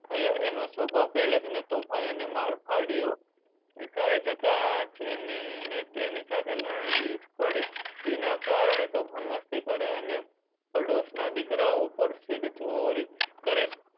થયા. એનો સ્વભાવ પહેલેથી જ તોફાની અને મારફાડ્યો. નિશાળે જતા જેની ને તેની સાથે લડી પડે ફુઈના કારણે તોફાન મસ્તી કરે અને પડોશના દીકરા ઉપર શિરચોરી કરે